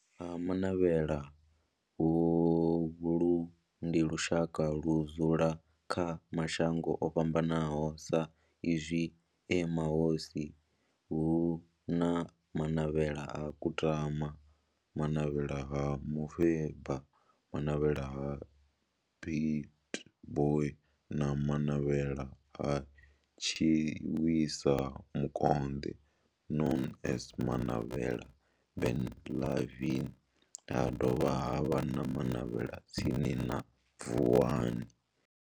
Vha Ha-Manavhela, holu ndi lushaka ludzula kha mashango ofhambanaho sa izwi e mahosi hu na Manavhela ha Kutama, Manavhela ha Mufeba, Manavhela ha Pietboi na Manavhela ha Tshiwisa Mukonde known as Manavhela Benlavin ha dovha havha na Manavhela tsini na Vuwani.